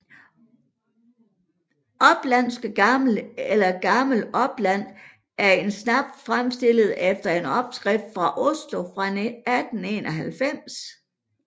Oplandske Gammel eller Gammel Opland er en snaps fremstillet efter en opskrift fra Oslo fra 1891